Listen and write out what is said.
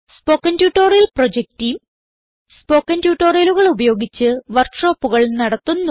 spoken tutorial project team spoken ട്യൂട്ടോറിയലുകൾ ഉപയോഗിച്ച് വർക്ക് ഷോപ്പുകൾ നടത്തുന്നു